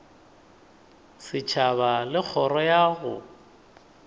setšhaba le kgoro ya go